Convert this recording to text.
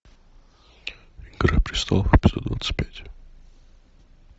игра престолов эпизод двадцать пять